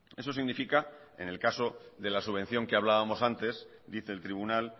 eso significa en el caso de la subvención que hablábamos antes dice el tribunal